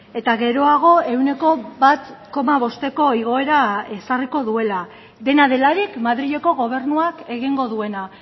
eta geroago ehuneko bat koma bosteko igoera ezarriko duela dena delarik madrileko gobernuak egingo duena